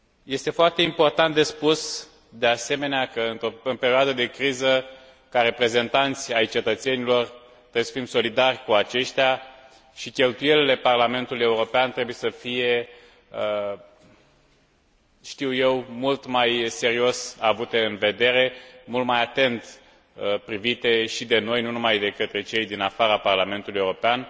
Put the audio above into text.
Este foarte important de spus, de asemenea, că într o perioadă de criză, ca reprezentanți ai cetățenilor, trebuie să fim solidari cu aceștia și cheltuielile Parlamentului European trebuie să fie mult mai serios avute în vedere, mult mai atent privite și de noi, nu numai de către cei din afara Parlamentului European